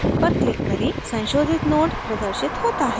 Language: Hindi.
संशोधित node प्रदर्शित होता है